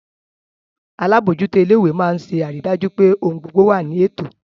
Alábòójútó ilé ìwé máa ń ṣe àrídájú pé ohun gbogbo wà ní ètò